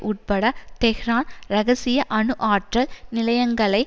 உட்பட தெஹ்ரான் இரகசிய அணு ஆற்றல் நிலையங்களை